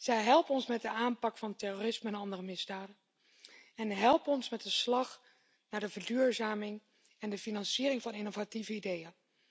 Zij helpen ons met de aanpak van terrorisme en andere misdaden, en met de slag naar de verduurzaming en de financiering van innovatieve ideeën.